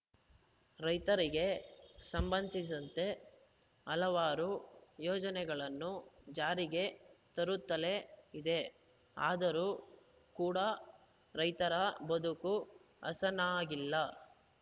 ರೈತರಿಗೆ ಸಂಬಂಧಿಸಿದಂತೆ ಹಲವಾರು ಯೋಜನೆಗಳನ್ನು ಜಾರಿಗೆ ತರುತ್ತಲೇ ಇದೆ ಆದರೂ ಕೂಡ ರೈತರ ಬದುಕು ಹಸನಾಗಿಲ್ಲ